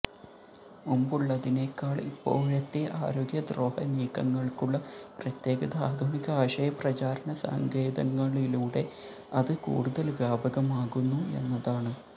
മുമ്പുള്ളതിനേക്കാള് ഇപ്പോഴത്തെ ആരോഗ്യദ്രോഹനീക്കങ്ങള്ക്കുള്ള പ്രത്യേകത ആധുനിക ആശയപ്രചാരണ സങ്കേതങ്ങളിലൂടെ അത് കൂടുതല് വ്യാപകമാകുന്നു എന്നതാണ്